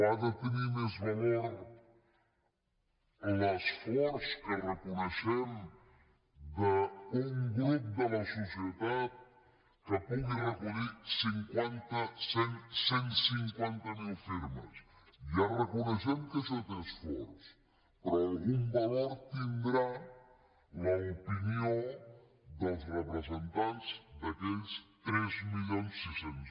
ha de tenir més valor l’esforç que reconeixem d’un grup de la societat que pugui recollir cinquanta cent cent i cinquanta miler firmes ja reconeixem que això té esforç però algun valor deu tenir l’opinió dels representants d’aquells tres mil sis cents